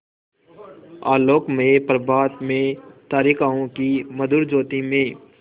आलोकमय प्रभात में तारिकाओं की मधुर ज्योति में